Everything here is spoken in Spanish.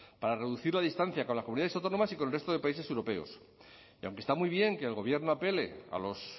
para reducir la distancia con las comunidades autónomas y con el resto de países europeos y aunque está muy bien que el gobierno apele a los